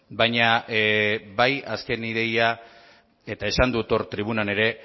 baina bai azken ideia eta esan dut hor tribunan ere